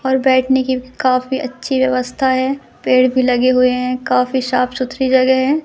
और बैठने की काफी अच्छी व्यवस्था है पेड़ भी लगे हुए हैं काफी साफ सुथरी जगह है।